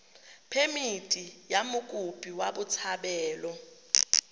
phemithi ya mokopi wa botshabelo